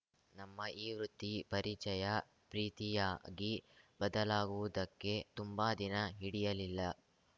ನಮ್ಮ ಈ ವೃತ್ತಿ ಪರಿಚಯ ಪ್ರೀತಿಯಾಗಿ ಬದಲಾಗುವುದಕ್ಕೆ ತುಂಬಾ ದಿನ ಹಿಡಿಯಲಿಲ್ಲ